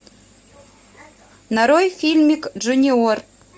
нарой фильмик джуниор